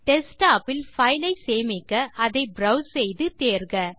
desktop இல் பைலை சேமிக்க அதை ப்ரோவ்ஸ் செய்து தேர்க